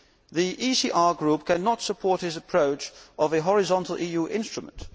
The ECR Group cannot support his approach of a horizontal instrument.